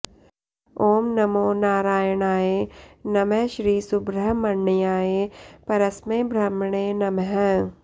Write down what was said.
ॐ नमो नारायणाय नमः श्रीसुब्रह्मण्याय परस्मै ब्रह्मणे नमः